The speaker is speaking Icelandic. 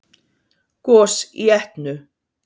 Gos í Etnu